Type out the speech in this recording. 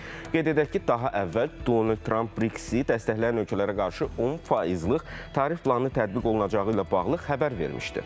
Qeyd edək ki, daha əvvəl Donald Tramp BRICS-i dəstəkləyən ölkələrə qarşı 10 faizlik tarif planını tətbiq olunacağı ilə bağlı xəbər vermişdi.